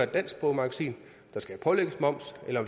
dansksproget magasin der skal pålægges moms eller